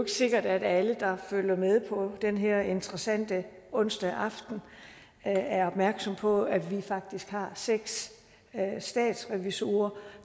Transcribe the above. sikkert at alle der følger med på den her interessante onsdag aften er er opmærksom på at vi faktisk har seks statsrevisorer